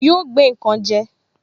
Yóò gbé nkan je